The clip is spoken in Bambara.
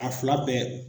A fila bɛɛ